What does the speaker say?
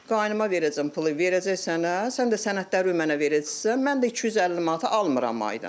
Qaynıma verəcəksən, pulu verəcək sənə, sən də sənədlərini mənə verəcəksən, mən də 250 manatı almıram ayda.